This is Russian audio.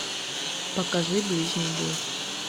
покажи ближний бой